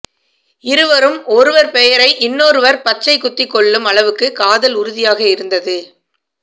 இருவரும் ஒருவர் பெயரை இன்னொருவர் பச்சை குத்தி கொள்ளும் அளவுக்கு காதல் உறுதியாக இருந்தது